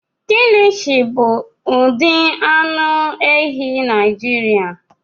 Kilishi bụ ụdị anụ ehi Naijiria.